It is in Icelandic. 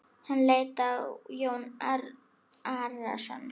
Hann leit á Jón Arason.